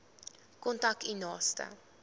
kontak u naaste